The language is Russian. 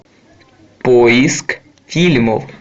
поиск фильмов